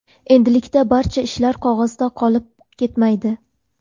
Endilikda barcha ishlar qog‘ozda qolib ketmaydi.